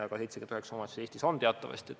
79 omavalitsust on Eestis teatavasti.